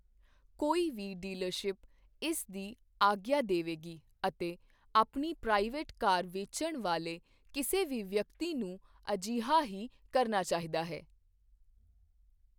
ਕੋਈ ਵੀ ਡੀਲਰਸ਼ਿਪ ਇਸ ਦੀ ਆਗਿਆ ਦੇਵੇਗੀ ਅਤੇ ਆਪਣੀ ਪ੍ਰਾਈਵੇਟ ਕਾਰ ਵੇਚਣ ਵਾਲੇ ਕਿਸੇ ਵੀ ਵਿਅਕਤੀ ਨੂੰ ਅਜਿਹਾ ਹੀ ਕਰਨਾ ਚਾਹੀਦਾ ਹੈ।